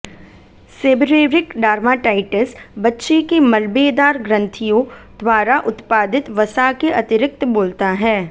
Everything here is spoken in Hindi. सेबरेरिक डार्माटाइटिस बच्चे के मलबेदार ग्रंथियों द्वारा उत्पादित वसा के अतिरिक्त बोलता है